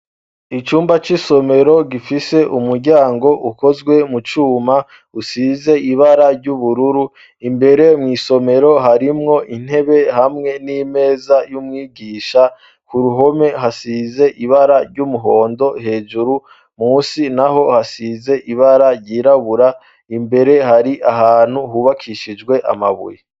Icumba c'isomero gifise umuryango ukozwe mu cuma usize ibara ry'ubururu imbere mw'isomero harimwo intebe hamwe n'imeza y'umwigisha ku ruhome hasize ibara ry'umuhondo hejuru musi na ho hasize ibara ryirabura imbere hari ahantu hubakishijwe amabuye.